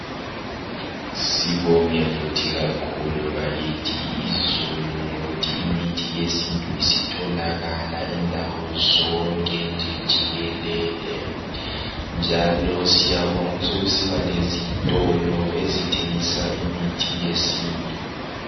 Sibonge futhi kakhulu bakithi izulu ngokuthi imithi yesintu sitholakala indawo zonke nje jikelele njalo siyabonga sokusiba lezitolo ezithengisa imithi yesintu.